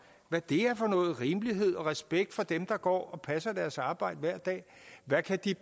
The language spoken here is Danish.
hvad er for noget med rimelighed og respekt for dem der går og passer deres arbejde hver dag hvad kan de